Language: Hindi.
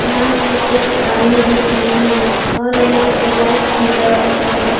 यहां पे एक आदमी दिख रहे हैं और यहां पे लाइट भी बर रहा है।